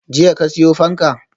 Jiya ka siyo fanka?